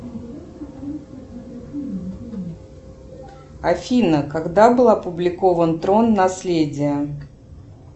афина когда был опубликован трон наследие